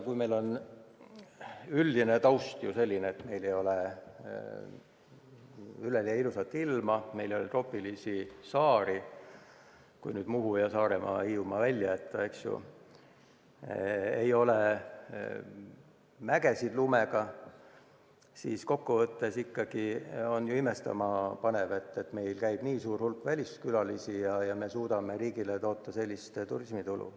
Kuna meie üldine taust on selline, et meil ei ole üleliia ilusat ilma, meil ei ole troopilisi saari – kui Muhu, Saaremaa ja Hiiumaa välja jätta –, meil ei ole lumega mägesid, siis kokkuvõttes on ju ikkagi imestama panev, et meil käib nii suur hulk väliskülalisi ja me suudame riigile toota sellist turismitulu.